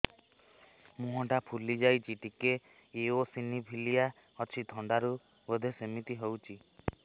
ମୁହଁ ଟା ଫୁଲି ଯାଉଛି ଟିକେ ଏଓସିନୋଫିଲିଆ ଅଛି ଥଣ୍ଡା ରୁ ବଧେ ସିମିତି ହଉଚି